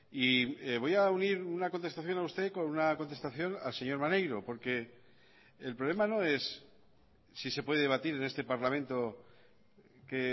y voy a unir una contestación a usted con una contestación al señor maneiro porque el problema no es si se puede debatir en este parlamento qué